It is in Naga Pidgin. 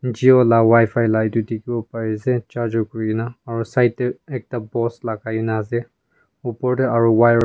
jio la wifi la etu dikhiwo pare ase charger kurina aro side te ekta post lagai na ase opor te aro wire .